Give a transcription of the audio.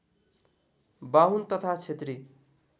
बाहुन तथा क्षेत्री